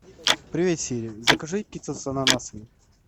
привет сири закажи пиццу с ананасами